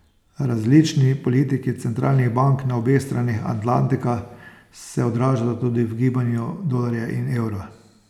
Različni politiki centralnih bank na obeh straneh Atlantika se odražata tudi v gibanju dolarja in evra.